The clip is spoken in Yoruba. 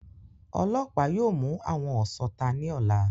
Ọlọ́pàá yóò mú àwọn ọ̀sọta ní ọ̀la